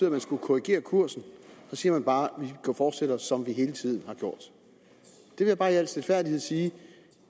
at man skulle korrigere kursen så siger man bare at man fortsætter som man hele tiden har gjort jeg vil bare i al stilfærdighed sige